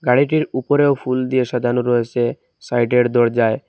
গাড়িটির উপরেও ফুল দিয়ে সাজানো রয়েসে সাইডের দরজায়।